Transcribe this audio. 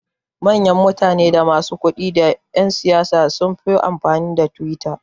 Mayan mutane da masu kudi da yan siyasa sunfi amfani da twitter